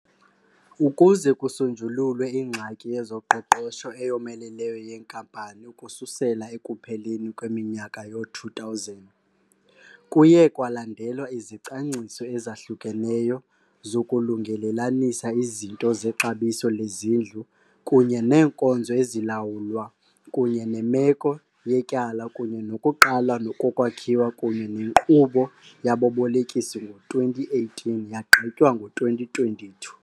Ukuze kusonjululwe ingxaki yezoqoqosho eyomeleleyo yenkampani ukususela ekupheleni kweminyaka yoo-2000, kuye kwalandelwa izicwangciso ezahlukeneyo zokulungelelanisa izinto zexabiso lezindlu kunye neenkonzo ezilawulwa kunye nemeko yetyala, kunye nokuqala kokwakhiwa kunye nenkqubo yababolekisi ngo-2018 , yagqitywa ngo-2022.